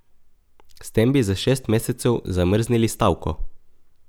S tem bi za šest mesecev zamrznili stavko.